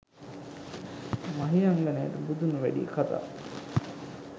මහියංගනයට බුදුන් වෑඩිය කතා